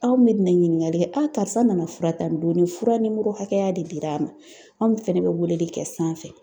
Anw be na ɲiniŋali kɛ karisa nana fura ta nin don ni fura nimoro hakɛya de dir'a ma. Anw fɛnɛ bɛ weeleli kɛ sanfɛ.